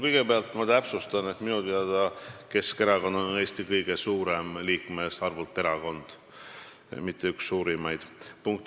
Kõigepealt ma täpsustan: minu teada on Keskerakond liikmete arvult Eesti kõige suurem erakond, mitte üks suurimaid.